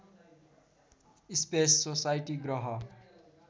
space society ग्रह